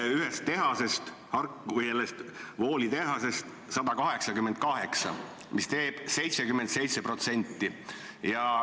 Ja ühest tehasest, M.V.Wooli tehasest, 188, mis teeb sellest 77%.